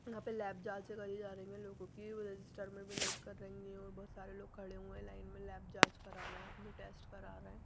यहाँ पे लैब जांचें करी जा रहे हैं लोगों की रजिस्टर में भी नोट कर रहे हैं और बहुत सारे लोग खड़े हुए हैं लाइन में लैब जांच करा रहे हैं अपने टेस्ट करा रहे हैं।